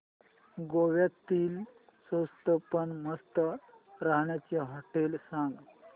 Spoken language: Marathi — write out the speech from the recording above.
गोव्यातली स्वस्त पण मस्त राहण्याची होटेलं सांग